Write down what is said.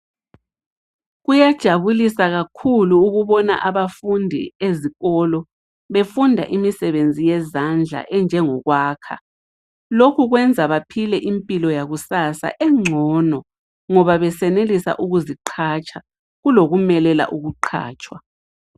Kuyajabulisa kakhulu ukubona abafundi ezikolo befunda imisebenzi yezandla enjengokwakha. Lokhu kwenza baphile impilo yakusasa engcono ngoba besenelisa ukuziqhatsha, kulokumelela ukuqhatshwa.